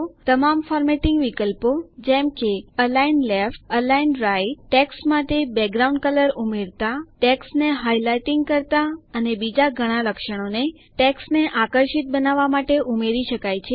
તમામ ફોર્મેટિંગ વિકલ્પો જેમ કે align left align right text માટે બેકગ્રાઉન્ડ કલર ઉમેરતા ટેક્સ્ટને હાઇલાઇટિંગ કરતા અને બીજા ઘણા લક્ષણોને ટેક્સ્ટને આકર્ષક બનાવવા માટે ઉમેરી શકાય છે